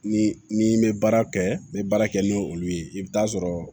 Ni n'i bɛ baara kɛ n bɛ baara kɛ n'olu ye i bɛ taa sɔrɔ